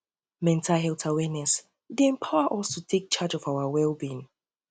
mental health awareness dey empower us to take charge of um our um wellbeing